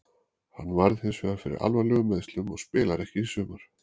Hann varð hinsvegar fyrir alvarlegum meiðslum og spilar ekki í sumar.